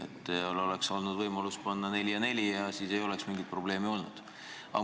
Teil oleks olnud võimalus panna Valgesse saali neli üht lippu ja neli teist, siis ei oleks mingit probleemi olnud.